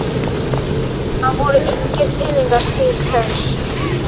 Það voru engir peningar til þess.